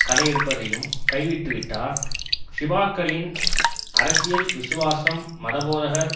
களையெடுப்பதையும் கைவிட்டுவிட்டால் ஷிபாக்களின் அரசியல் விசுவாசம் மதபோதகர்